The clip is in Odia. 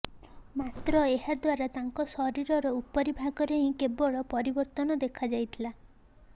ମାତ୍ର ଏହାଦ୍ୱାରା ତାଙ୍କ ଶରୀରର ଉପରି ଭାଗରେ ହିଁ କେବଳ ପରିବର୍ତ୍ତନ ଦେଖାଦେଇଥିଲା